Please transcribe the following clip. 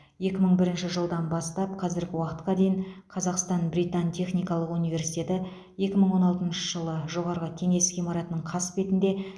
екі мың бірінші жылдан бастап қазіргі уақытқа дейін қазақстан британ техникалық университеті екі мың он алтыншы жылы жоғарғы кеңес ғимаратының қасбетінде